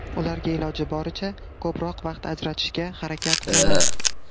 Ularga iloji boricha ko‘proq vaqt ajratishga harakat qilaman.